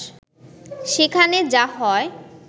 সেখানে যা হয়